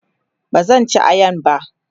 bazan ci ayan ba